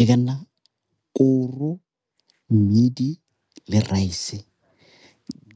E ka nna koro, mmidi le rice